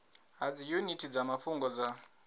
ha dziyuniti dza mafhungo dza